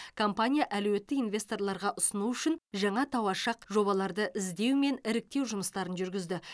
компания әлеуетті инвесторларға ұсыну үшін жаңа тауашақ жобаларды іздеу мен іріктеу жұмыстарын жүргізді